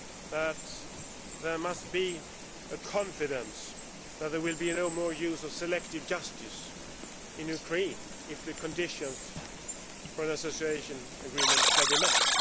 that there must be confidence that there will be no more use of selective justice in Ukraine if the conditions for an association agreement are to be met.